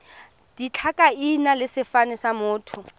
ditlhakaina le sefane sa motho